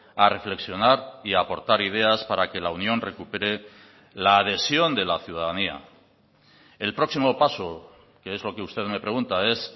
a reflexionar y a aportar ideas para que la unión recupere la adhesión de la ciudadanía el próximo paso que es lo que usted me pregunta es